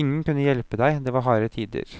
Ingen kunne hjelpe deg, det var harde tider.